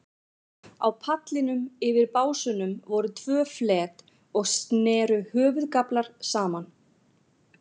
Á pallinum, yfir básunum, voru tvö flet og sneru höfðagaflar saman.